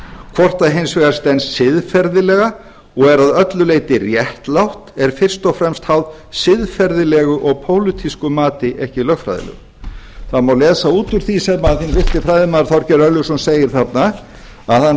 hvort það hins vegar stenst siðferðilega og er að öllu leyti réttlátt er fyrst og fremst háð siðferðilegu og pólitísku mati ekki lögfræðilegu það má lesa út úr því sem hinn virti fræðimaður þorgeir örlygsson segir þarna að hann